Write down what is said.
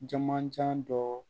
Jamanjan dɔ